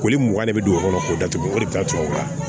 Koli mugan de be don o kɔnɔ k'o datugu o de bi ka tubabu kan